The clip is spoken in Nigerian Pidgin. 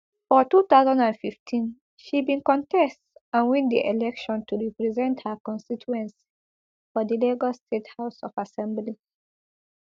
for two thousand and fifteen she bin contest and win di election to represent her constituency for di lagos state house of assembly